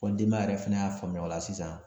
Fɔ denbaya yɛrɛ fɛnɛ y'a faamuya o la sisan